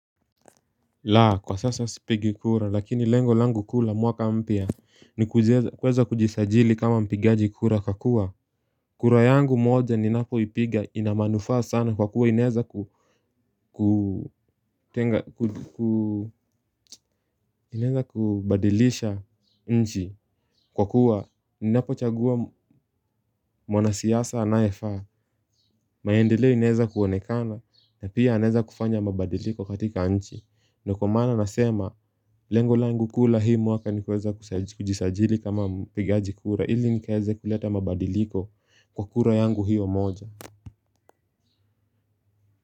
La kwa sasa sipigi kura lakini lengo langu kuu la mwaka mpya ni kuweza kujisajili kama mpigaji kura kwa kuwa kura yangu moja ninapo ipiga ina manufaa sana kwa kuwa inaeza kuu kuu. Inaeza kubadilisha nchi kwa kuwa ninapo chagua mwana siasa anayefaa. Maendeleo inaeza kuonekana na pia anaweza kufanya mabadiliko katika nchi. Ndio kwa maana nasema lengo langu kuu la hii mwaka ni kuweza kujisajili kama mpigaji kura. Ili nikaweze kuleta mabadiliko kwa kura yangu hiyo moja.